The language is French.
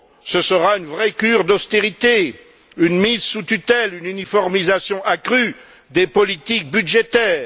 Ce sera une vraie cure d'austérité, une mise sous tutelle, une uniformisation accrue des politiques budgétaires.